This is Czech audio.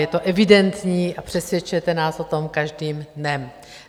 Je to evidentní a přesvědčujete nás o tom každým dnem.